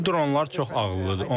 Bu dronlar çox ağıllıdır.